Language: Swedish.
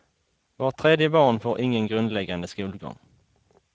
Vart tredje barn får ingen grundläggande skolgång.